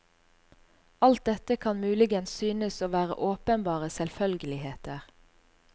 Alt dette kan muligens synes å være åpenbare selvfølgeligheter.